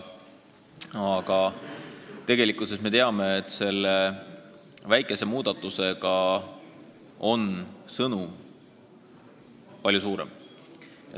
Aga tegelikult me teame, et kõnealuse väikese muudatuse sõnum on palju laiem.